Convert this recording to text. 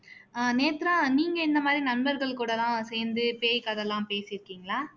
ஆஹ் நேத்ரா நீங்க வந்து இந்த மாதிரி நண்பர்கள் கூட எல்லாம் சேந்து பேய் கதை எல்லாம் பேசிருக்கீங்களா